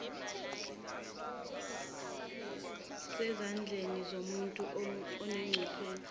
sezandleni zomuntu onobuchwepheshe